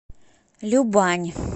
любань